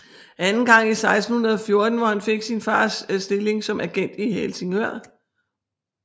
Anden gang i 1614 hvor han fik sin faders stilling som agent i Helsingør